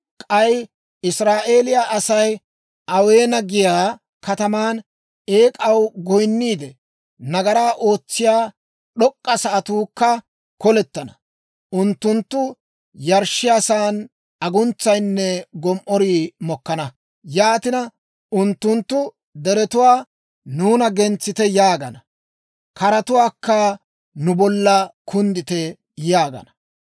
K'ay Israa'eeliyaa Asay Aweena giyaa kataman eek'aw goyinniide, nagaraa ootsiyaa d'ok'k'a sa'atuukka kolettana; unttunttu yarshshiyaasan aguntsayinne gom"orii mokkana. Yaatina, unttunttu deretuwaa, «Nuuna gentsite!» yaagana. Keratuwaakka, «Nu bolla kunddite!» yaagana.